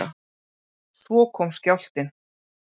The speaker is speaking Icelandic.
Svo kom skjálftinn.